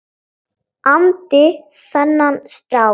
andi þennan strák.